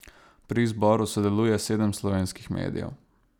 Pri izboru sodeluje sedem slovenskih medijev.